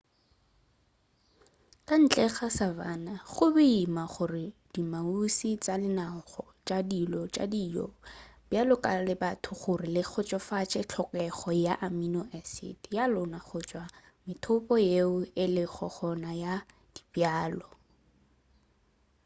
ka ntle ga savanna go boima gore diamuši tša lenaneo la go ba tšhilo ya dijo le bjalo ka la batho gore le kgotsofatše tlhokego ya amino-acid ya lona go tšwa go methopo yeo e lego gona ya dibjalo